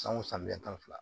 San o san bi tan ni fila